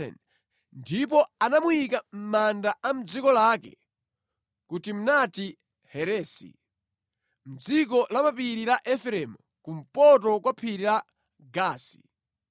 Ndipo anamuyika mʼmanda a mʼdziko lake, ku Timnati-Heresi mʼdziko la mapiri la Efereimu, kumpoto kwa phiri la Gaasi.